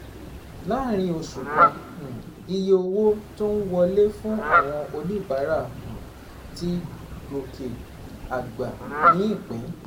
Láàárín oṣù kan, um iye owó tó ń wọlé fún àwọn oníbàárà um ti gòkè àgbà ní ìpín